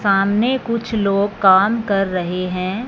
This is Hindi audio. सामने कुछ लोग काम कर रहे हैं।